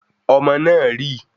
Omo náà rì